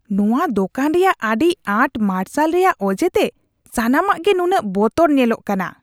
ᱱᱚᱶᱟ ᱫᱳᱠᱟᱱ ᱨᱮᱭᱟᱜ ᱟᱹᱰᱤ ᱟᱸᱴ ᱢᱟᱨᱥᱟᱞ ᱨᱮᱭᱟᱜ ᱚᱡᱮᱛᱮ ᱥᱟᱱᱟᱢᱟᱜ ᱜᱮ ᱱᱩᱱᱟᱹᱜ ᱵᱚᱛᱚᱨ ᱧᱮᱞᱚᱜ ᱠᱟᱱᱟ ᱾